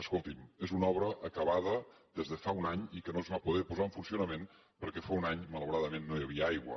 escolti’m és una obra acabada des de fa un any i que no es va poder posar en funcionament perquè fa un any malauradament no hi havia aigua